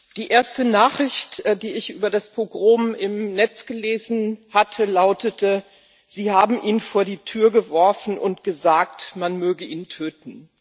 Herr Präsident! Die erste Nachricht, die ich über das Pogrom im Netz gelesen hatte, lautete Sie haben ihn vor die Tür geworfen und gesagt, man möge ihn töten.